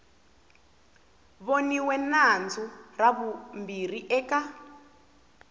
voniwe nandzu ra vumbirhi eka